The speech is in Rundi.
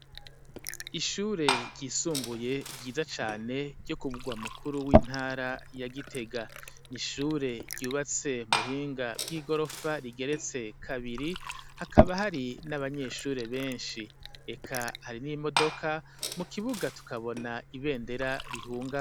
ishure ryisumbuye byiza cyane ryo kubwa mukuru w'intara ya gitega nishure ryubatse mu buhinga bw'igorofa rigeretse kabiri hakaba hari n'abanyeshure benshi eka hari n'imodoka mu kibuga tukabona ibendera rihunga.